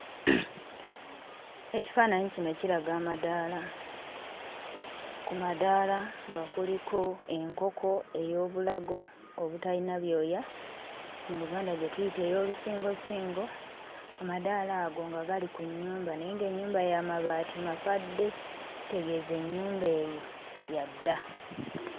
Ekifaananyi kino kiraga amadaala. Ku madaala nga kuliko enkoko ey'obulago obutalina byoya, mu Luganda gye tuyita ey'olusingosingo. Amadaala ago nga gali ku nnyumba naye ng'ennyumba ya mabaati makadde. Kitegeeza ennyumba eyo ya dda.